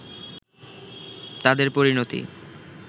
তাদের পরিণতি